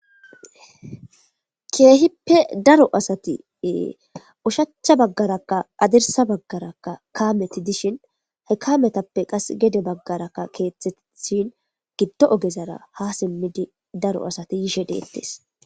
keehippe daro asati ushacha baggaraka adirsa baggarakka kaameti dishin hekametappe qas gede baggarakka keeththetishin giddo ogezara ha simmidi daro asati yishe deettes.